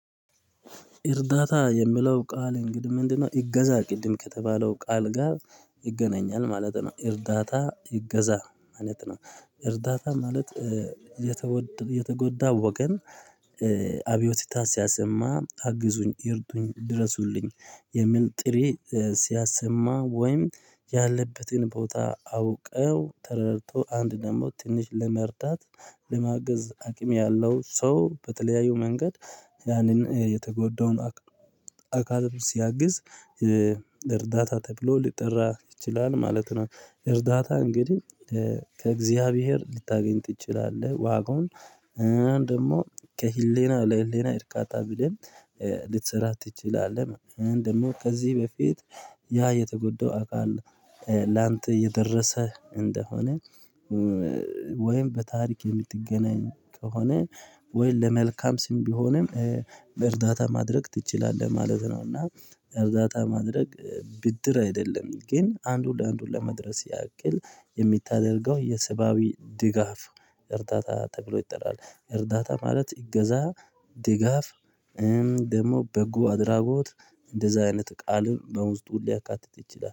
እርዳታ የምለው ቃል እንግዲህ ምንድነው? እገዛ ቅድም ከተባለው ቃል ጋር ይገናኛል ማለት ነው። እርዳታ እገዛ ማለት ነው። እርዳታ ማለት የተወደ የተጎዳ ወገን። አብዮቲታ ሲያሰማ አግዙኝ ይርጡኝ ድረሱልኝ የሚል ጥሬ ሲያሰማ ወይም ያለበትን ቦታ አውቀው ተረድቶ አንድ ደግሞ ትንሽ ለመርዳት ለማገዝ አቅም ያለው ሰው በተለያዩ መንገድ ያንን የተጎዳውን አካል ሲያግዝ እርዳታ ተብሎ ሊጠራ ይችላል ማለት ነው። እርዳታ እንግዲህ ከእግዚአብሔር ልታገኝ ትችላለህ ዋጋውን ደግሞ ከህሌና ለህሌና እርካታ ብለን ልትሰራ ትችላለህ። እንደውም ከዚህ በፊት ያ የተጎዳው አካል ላንተ የደረሰህ እንደሆነ ወይም በታሪክ የምትገናኝ ከሆነ ወይ ለመልካም ስም ቢሆንም በእርዳታ ማድረግ ትችላለህ ማለት ነው። እና እርዳታ ማድረግ ብድር አይደለም ግን አንዱ ለአንዱ ለመድረስ ያቅል የሚታደርገው የሰብአዊ ድጋፍ እርዳታ ተብሎ ይጥላል። እርዳታ ማለት እገዛ ድጋፍ ደግሞ በጎ አድራጎት እንደዛ አይነት ቃልም በውስጡ ሊያካትት ይችላል